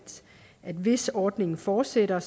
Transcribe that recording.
hvis ordningen fortsætter